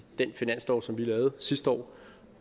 den finanslov som vi lavede sidste år